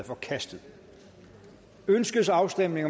forkastet ønskes afstemning